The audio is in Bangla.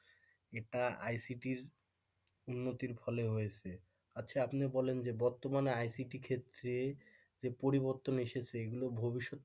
এটা ICT র উন্নতির ফলে হয়েছে আচ্ছা আপনি বলেন যে বর্তমানে ICT ক্ষেত্রে যে পরিবর্তন এসেছে এগুলো ভবিষ্যৎ।